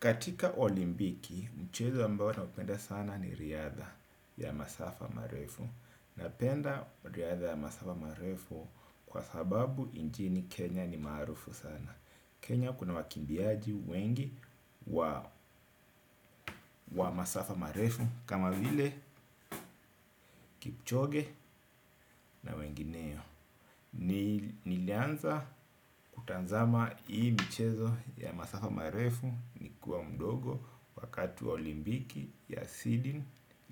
Katika olimpiki, mchezo ambayo napenda sana ni riadha ya masafa marefu. Napenda riadha ya masafa marefu kwa sababu nchini Kenya ni maarufu sana Kenya kuna wakimbiaji wengi wa wa masafa marefu kama vile kipchoge na wengineo. Nilianza kutazama hii mchezo ya masafa marefu nikiwa mdogo wakati wa olimpiki ya Sydney